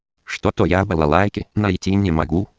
что-то я балалайке найти не